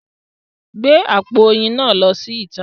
Gbé àpò oyin náà lọ síta!